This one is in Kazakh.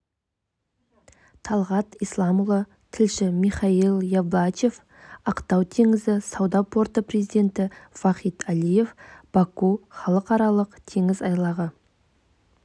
талғат исламұлы тілші михаил ялбачев ақтау теңіз сауда порты президенті вахид алиев баку халықаралық теңіз айлағы